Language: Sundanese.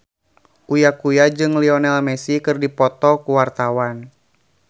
Uya Kuya jeung Lionel Messi keur dipoto ku wartawan